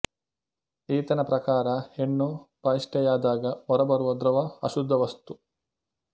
ಈತನ ಪ್ರಕಾರ ಹೆಣ್ಣು ಬಹಿಷ್ಠೆಯಾದಾಗ ಹೊರಬರುವ ದ್ರವ ಅಶುದ್ಧ ವಸ್ತು